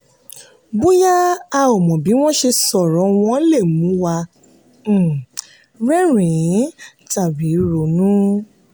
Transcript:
bóyá a ò mọ bí wọ́n ṣe sọ̀rọ̀ wọ́n lè mú wa um rẹ́rìn-ín tàbí ronú.